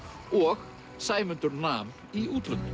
og Sæmundur nam í útlöndum